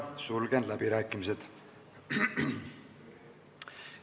Sulgen läbirääkimised.